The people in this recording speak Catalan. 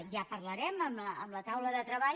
ja parlarem amb la taula de treball